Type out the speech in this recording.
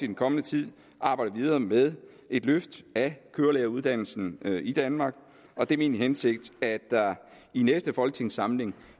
den kommende tid arbejde videre med et løft af kørelæreruddannelsen i danmark og det er min hensigt at der i næste folketingssamling